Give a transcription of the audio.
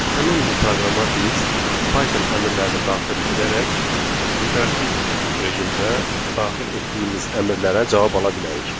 Həmin bu proqrama biz Python əmrlərini daxil edərək interaktiv rejimdə daxil etdiyimiz əmrlərə cavab ala bilərik.